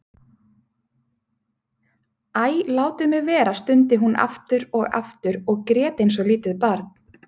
Æ, látið mig vera stundi hún aftur og aftur og grét eins og lítið barn.